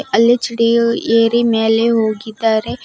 ಅಲ್ಲಿ ಚಿಡಿಯು ಏರಿ ಮ್ಯಾಲೆ ಹೋಗಿದ್ದಾರೆ.